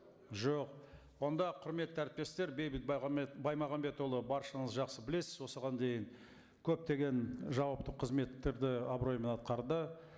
жоқ онда құрметті әріптестер бейбіт баймағамбетұлы баршаңыз жақсы білесіз осыған дейін көптеген жауапты қызметтерді абыроймен атқарды